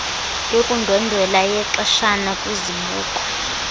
yokundwendwela yexeshana kwizibuko